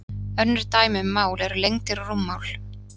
önnur dæmi um mál eru lengdir og rúmmál